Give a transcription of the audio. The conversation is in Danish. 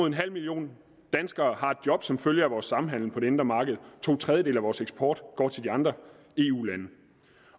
en halv million danskere har et job som følge af vores samhandel på det indre marked og to tredjedele af vores eksport går til de andre eu lande